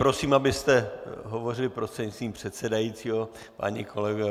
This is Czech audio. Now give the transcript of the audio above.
Prosím, abyste hovořili prostřednictvím předsedajícího, páni kolegové.